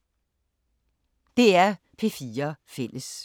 DR P4 Fælles